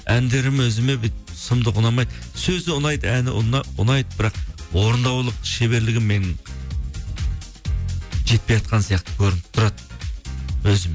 әндерім өзіме бүйтіп сұмдық ұнамайды сөзі ұнайды әні ұнайды бірақ орындаулық шеберлігім менің жетпейатқан сияқты көрініп тұрады өзім